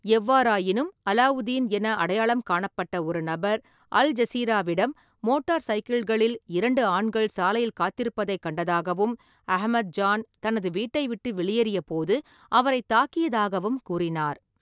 எவ்வாறாயினும், அலாவுதின் என அடையாளம் காணப்பட்ட ஒரு நபர், அல் ஜசீராவிடம், மோட்டார் சைக்கிள்களில் இரண்டு ஆண்கள் சாலையில் காத்திருப்பதைக் கண்டதாகவும், அஹமத்-ஜான் தனது வீட்டை விட்டு வெளியேறியபோது அவரைத் தாக்கியதாகவும் கூறினார்.